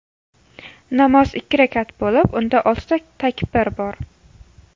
Namoz ikki rakat bo‘lib, unda oltita takbir bor.